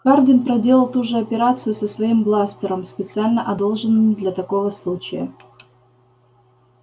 хардин проделал ту же операцию со своим бластером специально одолжённым для такого случая